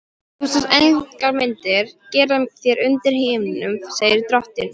Þú skalt engar myndir gera þér undir himninum, segir drottinn.